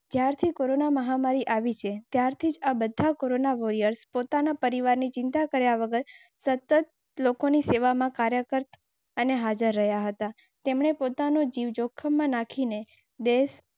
ક્યાં છે કોરોના મહામારી આવી છે? વોરીયર્સ પોતાના પરિવારની ચિંતા કર્યા વગર સતત લોકોની સેવામાં કાર્યરત અને હાજર રહ્યાં હતા. તેમણે પોતાનો જીવ જોખમમાં નાખીને.